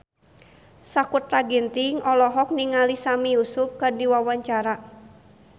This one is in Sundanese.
Sakutra Ginting olohok ningali Sami Yusuf keur diwawancara